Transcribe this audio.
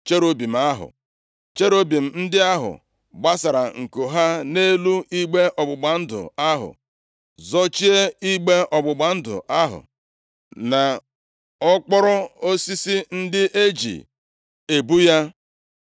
Cherubim ndị ahụ gbasara nku ha nʼelu igbe ọgbụgba ndụ ahụ, zochie igbe ọgbụgba ndụ ahụ na okporo osisi ndị e ji ebu ya.